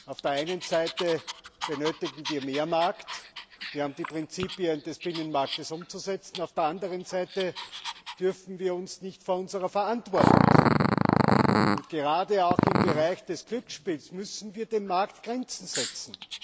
Auf der einen Seite benötigen wir mehr Markt wir haben die Prinzipien des Binnenmarktes umzusetzen auf der anderen Seite dürfen wir uns nicht vor unserer Verantwortung drücken. Gerade auch im Bereich des Glücksspiels müssen wir dem Markt Grenzen setzen.